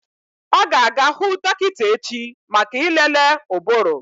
Ọ ga-aga hụ dọkịta echi maka ịlele ụbụrụ.